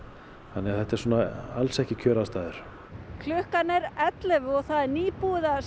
þannig að þetta eru alls ekki kjöraðstæður klukkan er ellefu og það er nýbúið að